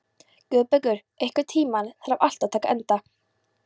Guðbergur, einhvern tímann þarf allt að taka enda.